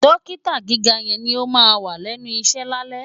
Dọ́kítà gíga yẹn ni ó máà wà lẹ́nu iṣẹ́ lálẹ́.